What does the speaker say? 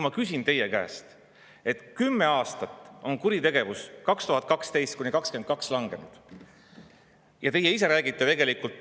Ma teile, et kümme aastat, 2012–2022, on kuritegevus langenud.